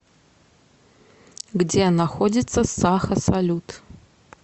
где находится саха салют